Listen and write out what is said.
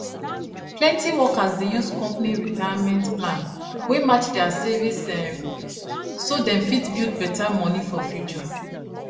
plenty workers dey use company retirement plan wey match their savings um so dem fit build better money for future